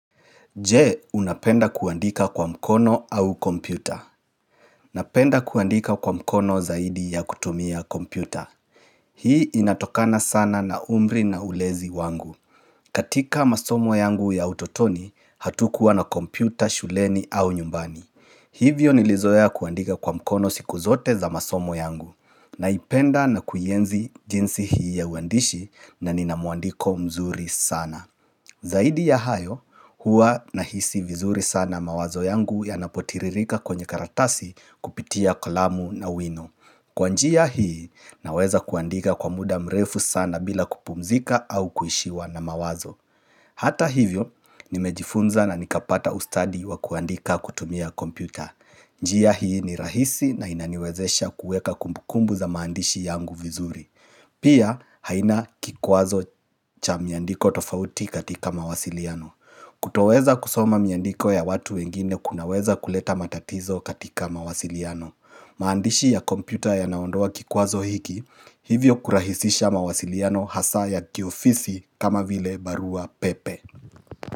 Je, unapenda kuandika kwa mkono au kompyuta? Napenda kuandika kwa mkono zaidi ya kutumia kompyuta. Hii inatokana sana na umri na ulezi wangu. Katika masomo yangu ya utotoni, hatukuwa na kompyuta shuleni au nyumbani. Hivyo nilizoea kuandika kwa mkono siku zote za masomo yangu. Naipenda na kuienzi jinsi hii ya uandishi na nina mwandiko mzuri sana. Zaidi ya hayo, hua nahisi vizuri sana mawazo yangu yanapotiririka kwenye karatasi kupitia kalamu na wino. Kwa njia hii, naweza kuandika kwa muda mrefu sana bila kupumzika au kuishiwa na mawazo. Hata hivyo, nimejifunza na nikapata ustadi wa kuandika kutumia kompyuta. Njia hii ni rahisi na inaniwezesha kuweka kumbukumbu za maandishi yangu vizuri. Pia, haina kikwazo cha miandiko tofauti katika mawasiliano. Kutoweza kusoma miandiko ya watu wengine kunaweza kuleta matatizo katika mawasiliano. Maandishi ya kompyuta yanaondoa kikwazo hiki, hivyo kurahisisha mawasiliano hasaa ya kiofisi kama vile barua pepe.